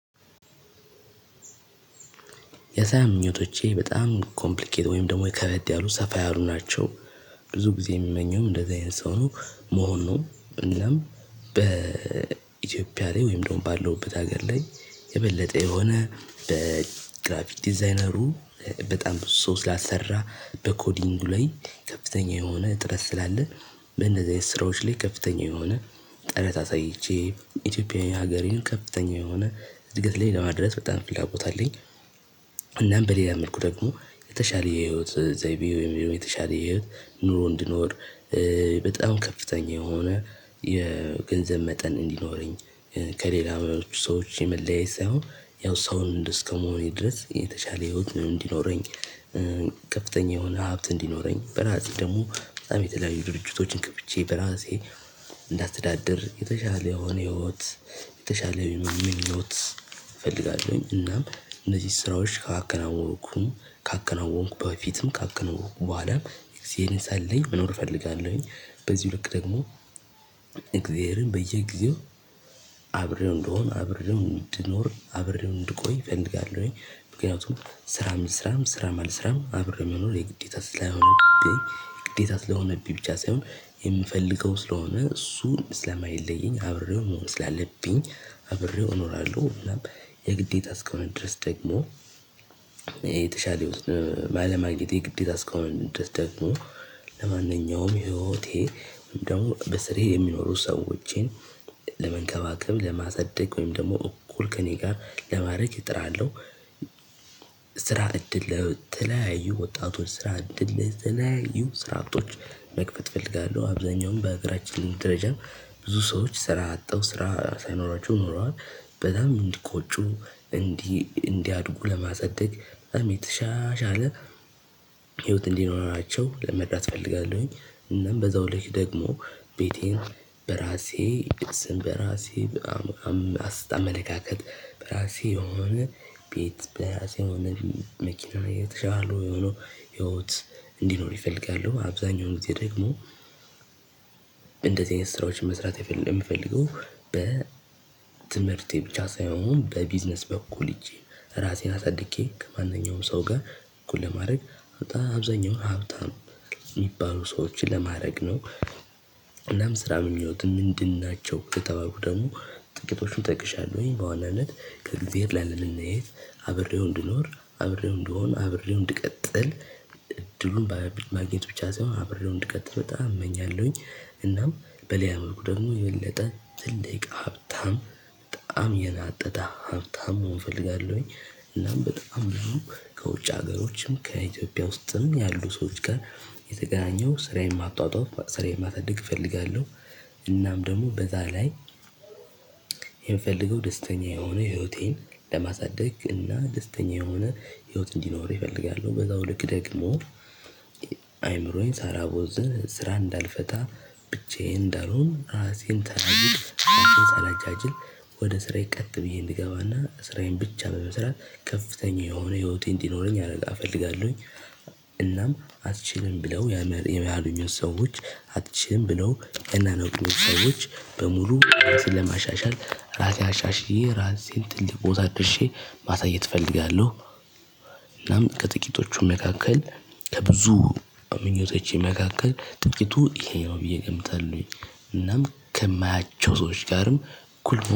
የሳያ ምኞቶቼ በጣም ኮምፕሊኬት ወይም ደግሞ የከበድ ያሉ ሰፋ ያሉ ናቸው። ብዙ ጊዜ የምመኘውም እንደዚህ አይነት ሰው ነው መሆን ነው እናም በኢትዮጵያ ላይ ወይም ደግሞ ባለውበት ሀገር ላይ የበለጠ የሆነ በግራፊክ ዲዛይነሩ በጣም ሶስት ላሰራ በኮዲንጉ ላይ ከፍተኛ የሆነ ጥረት ስላለ በነዚህ ስራዎች ላይ ከፍተኛ የሆነ ጥረት አሳይቼ ኢትዮጵያዊ ሀገሬን ከፍተኛ የሆነ እድገት ላይ ለማድረስ በጣም ፍላጎት አለኝ። እናም በሌላ መልኩ ደግሞ የተሻለ የህይወት ዘይቤ ወይም የተሻለ የህይወት ኑሮ እንድኖር በጣም ከፍተኛ የሆነ የገንዘብ መጠን እንዲኖረኝ ከሌላ ሰዎች የመለየት ሳይሆን ያው ሰውን እስከመሆኔ ድረስ የተሻለ ህይወት እንዲኖረኝ። ከፍተኛ የሆነ ሀብት እንዲኖረኝ በራሴ ደግሞ በጣም የተለያዩ ድርጅቶችን ከፍቼ በራሴ እንዳስተዳደር የተሻለ የሆነ ህይወት የተሻለ ምኞት እፈልጋለሁኝ። እናም እነዚህ ስራዎች ካከናወንኩም ካከናወንኩ በፊትም ካከናወንኩ በኋላም እዚህን ሳለኝ መኖር እፈልጋለሁኝ። በዚህ ልክ ደግሞ እግዜርን በየጊዜው አብሬው እንድሆን አብሬው እንድኖር አብሬው እንድቆይ እፈልጋለሁኝ። ምክንያቱም ስራም ልስራም ስራም አልስራም አብሬው መኖር የግዴታ ስለሆነብኝ የግዴታ ስለሆነብኝ ብቻ ሳይሆን የምፈልገው ስለሆነ እሱን ስለማይለየኝ አብሬው መሆን ስላለብኝ አብሬው እኖራለሁ። እናም የግዴታ እስከሆነ ድረስ ደግሞ የተሻለ የውስጥ ባለማግኘት የግዴታ እስከሆነ ድረስ ደግሞ ለማንኛውም ህይወቴ ደግሞ በስርዬ የሚኖሩ ሰዎችን ለመንከባከብ ለማሳደግ ወይም ደግሞ እኩል ከእኔ ጋር ለማድረግ እጥራለሁ። ስራ እድል ለተለያዩ ወጣቶች ስራ እድል ለተለያዩ ስራ አጦች መክፈት እፈልጋለሁ አብዛኛውን በአገራችን ደረጃ ብዙ ሰዎች ስራ አጠው ስራ ሳይኖራችሁ ኖረዋል። በጣም እንዲቆጩ እንዲ እንዲያድጉ ለማሳደግ በጣም የተሻሻለ ህይወት እንዲኖራቸው ለመርዳት እፈልጋለሁኝ። እናም በዛው ልክ ደግሞ ቤቴን በራሴ ስም በራሴ በመለካከት በራሴ የሆነ ቤት በራሴ የሆነ መኪና እየተሻሉ የሆኑ ህይወት እንዲኖረኝ እፈልጋለሁ። አብዛኛው ጊዜ ደግሞ እንደዚህ አይነት ስራዎችን መስራት የሚፈልገው በ ትምህርቴ ብቻ ሳይሆን በቢዝነስ በኩል ሄጄ ራሴን አሳድጌ ከማንኛውም ሰው ጋር እኩል ለማድረግ አብዛኛውን ሀብታም የሚባሉ ሰዎችን ለማድረግ ነው። እናም ስራ ምኞትህ ምንድን ናቸው የተባሉ ደግሞ ጥቂቶቹን እጠይቅሻለሁኝ በዋናነት ከእግዚአብሔር ላለመለየት አብሬው እንድኖር አብሬው እንድሆን አብሬው እንድቀጥል እድሉን በማግኘት ብቻ ሳይሆን አብሬው እንድቀጥል በጣም እመኛለሁኝ። እናም በሌላ መልኩ ደግሞ የበለጠ ትልቅ ሀብታም በጣም የናጠጠ ሀብታም መሆን እፈልጋለሁኝ። እናም በጣም ነው ከውጭ ሀገሮችም ከኢትዮጵያ ውስጥም ያሉ ሰዎች ጋር የተገናኘው ስራዬን ማጧጧፍ ስራዬን ማሳድግ እፈልጋለሁ። እናም ደግሞ በዛ ላይ የምፈልገው ደስተኛ የሆነ ህይወቴን ለማሳደግ እና ደስተኛ የሆነ ህይወት እንዲኖር እፈልጋለሁ። በዛው ልክ ደግሞ አይምሮዬን ሳላቦዝን ስራ እንዳልፈታ ብቻዬን እንዳልሆን ራሴን ተናጅል ራሴን ሳላጃጅል ወደ ስራዬ ቀጥ ብዬ እንገባና ስራዬን ብቻ በመስራት ከፍተኛ የሆነ ህይወቴን እንዲኖረኝ እፈልጋለሁኝ። እናም አትችልም ብለው ያሉኞች ሰዎች አትችልም ብለው እናንተ ሰዎች በሙሉ ራሴን ለማሻሻል ራሴ አሻሽዬ ራሴን ትልቅ ቦታ ደርሼ ማሳየት እፈለጋለሁ። እናም ከጥቂቶቹ መካከል ከብዙ ምኞቶች መካከል ጥቂቱ ይሄ ነው ብዬ እገምታለሁኝ። እናም ከማያቸው ሰዎች ጋርም እኩል